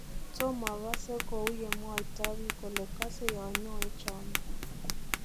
Tomogosee kouyemwoto biik kole kosee yonyoe chomiet.